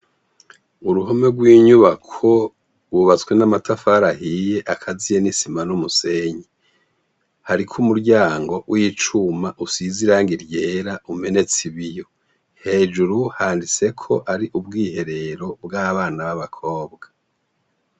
Uruhome rwinyubako rwubatse amatafari ahiye akaziye nisima numusenyi hariko umuryango wicuma usinze irangi ryera umenetse ibiyo hejuru handitseko ari ubwiherero bwabana babakobwa